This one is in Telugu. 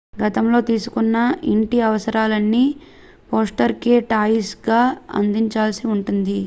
గతంలో తీసుకున్న ఇంటి అవసరాలన్నీ ఫోస్టర్ కే టాయిస్ గా అందించాల్సి ఉంటుంది